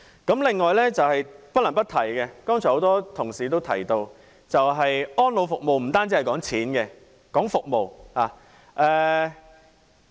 此外，不能不提剛才已有很多同事提及的：安老服務不單談金額，也談服務。